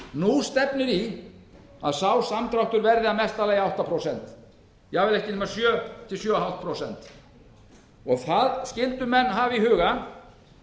nú stefnir í að sá samdráttur verði í mesta lagi átta prósent jafnvel ekki nema sjö til sjö og hálft prósent það skyldu menn hafa í huga